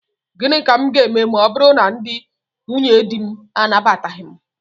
Gịnị ka m ga-eme ma ọ bụrụ na ndị nwunyedi m anabataghị m?